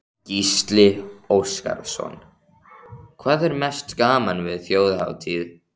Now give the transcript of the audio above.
Gísli Óskarsson: Hvað er mest gaman við Þjóðhátíð?